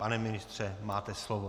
Pane ministře, máte slovo.